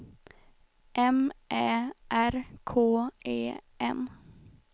M Ä R K E N